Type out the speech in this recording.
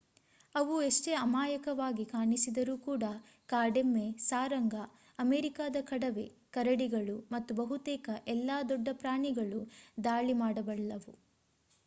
ಅವು ಎಷ್ಟೇ ಅಮಾಯಕವಾಗಿ ಕಾಣಿಸಿದರೂ ಕೂಡಾ ಕಾಡೆಮ್ಮೆ ಸಾರಂಗ ಅಮೆರಿಕಾದ ಕಡವೆ ಕರಡಿಗಳು ಮತ್ತು ಬಹುತೇಕ ಎಲ್ಲಾ ದೊಡ್ಡ ಪ್ರಾಣಿಗಳೂ ದಾಳಿ ಮಾಡಬಲ್ಲವು